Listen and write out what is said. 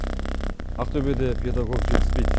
ақтөбеде педагог жетіспейді